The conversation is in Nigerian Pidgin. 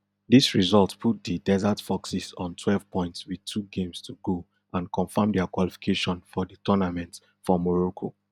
dis result put di desert foxes on twelve points wit two games to go and confirm dia qualification for di tournament for morocco